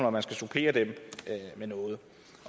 om man skal supplere dem med noget